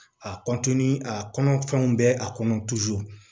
A a kɔnɔfɛnw bɛ a kɔnɔ